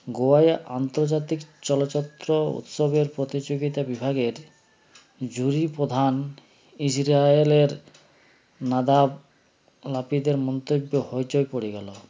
গোয়ায় আন্তর্জাতিক চলচ্চত্র উৎসবের প্রতিযোগীতা বিভাগের জুড়ি প্রধান ইজরাইলের নাদাব নাপিদের মন্তব্যে হইচই পড়ে গেল